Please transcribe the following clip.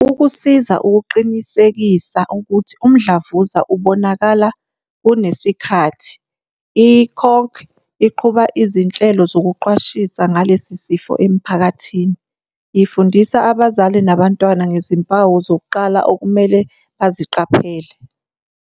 Ukusiza ukuqinisekisa ukuthi umdlavuza ubonakala kusenesikhathi, i-CHOC iqhuba izinhlelo zokuqwashisa ngalesi sifo emiphakathini, ifundisa abazali nabantwana ngezimpawu zokuqala okumele baziqaphele.